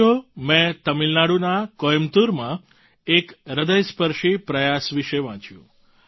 સાથીઓ મેં તમિલનાડુના કોઈમ્બતૂરમાં એક હ્રદયસ્પર્શી પ્રયાસ વિશે વાંચ્યું